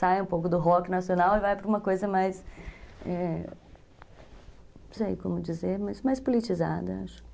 Sai um pouco do rock nacional e vai para uma coisa mais... É... Não sei como dizer, mas mais politizada, acho.